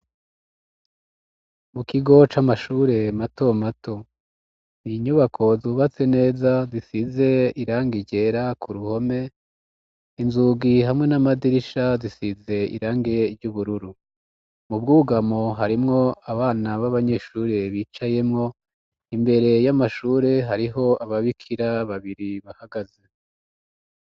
Mu kigo c'amashure mato mato ninyubako zubatse neza disize iranga ijera ku ruhome inzugi hamwe n'amadirisha zisize irange ry'ubururu mu bwugamo harimwo abana b'abanyeshure bicayemwo imbere y'amahur sure hariho aba bikira babiri bahagaze.